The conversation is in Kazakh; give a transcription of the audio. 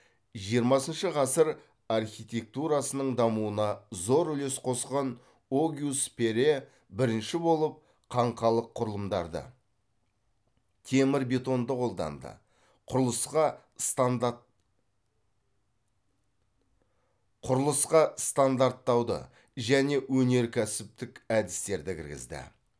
жиырмасыншы ғасыр архитектурасының дамуына зор үлес қосқан огюст перре бірінші болып қаңқалық құрылымдарды темір бетонды қолданды құрылысқа стандарттауды және өнеркәсіптік әдістерді кіргізді